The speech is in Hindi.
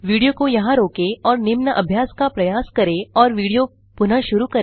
वीडियो को यहां रोकें और निम्न अभ्यास का प्रयास करें और वीडियो पुनः शुरू करें